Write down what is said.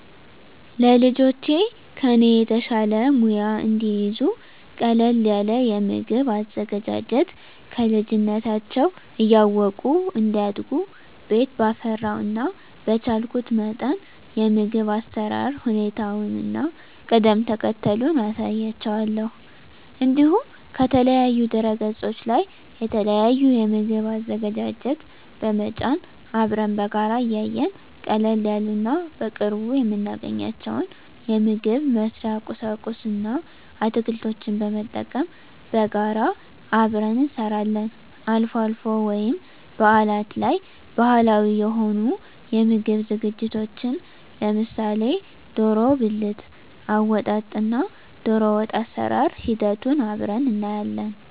ለልጆቼ ከኔ የተሻለ ሙያ እንዲይዙ ቀለል ያለ የምግብ አዘገጃጀት ከልጅነታቸው እያወቁ እንዲያድጉ ቤት ባፈራው እና በቻልኩት መጠን የምግብ አሰራር ሁኔታውን እና ቅደም ተከተሉን አሳያቸዋለሁ። እንዲሁም ከተለያዩ ድህረገጾች ላይ የተለያዩ የምግብ አዘገጃጀት በመጫን አብረን በጋራ እያየን ቀለል ያሉ እና በቅርቡ የምናገኛቸውን የምግብ መስሪያ ቁሳቁስ እና አትክልቶችን በመጠቀም በጋራ አብረን እንሰራለን። አልፎ አልፎ ወይም በአላት ላይ ባህላዊ የሆኑ የምግብ ዝግጅቶችን ለምሳሌ ደሮ ብልት አወጣጥ እና ደሮወጥ አሰራር ሂደቱን አብረን እናያለን።